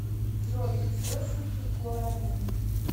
джой источники гуаранин